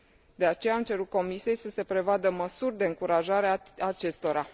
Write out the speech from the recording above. De aceea, am cerut Comisiei să se prevadă măsuri de încurajare a acestora.